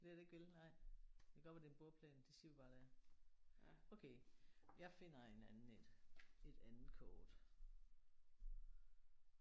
Det er det ikke vel nej? Det kan godt være det er en bordplan. Det siger vi bare det er. Okay jeg finder en anden en. Et andet kort